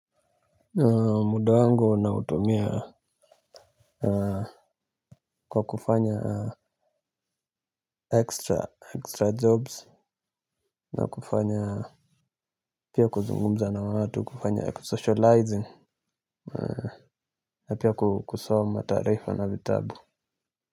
Muda wangu na utumia kwa kufanya extra jobs na kufanya pia kuzungumza na watu kufanya kusocializing na pia kusoma taarifa na vitabu.